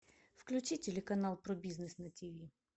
включи телеканал про бизнес на тв